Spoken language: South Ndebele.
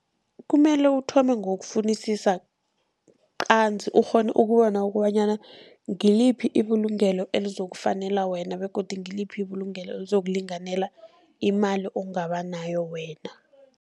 Kumele uthome ngokufunisisa qanzi ukghone ukubona kobanyana ngiliphi ibulungelo elizokufanela wena begodu ngiliphi ibulungelo elizokulinganela imali ongaba nayo wena.